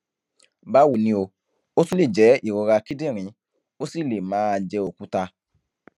báwo ni o ó tún lè jẹ ìrora kíndìnrín ó sì lè máà jẹ òkúta